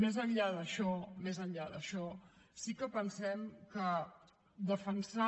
més enllà d’això més enllà d’això sí que pensem que defensar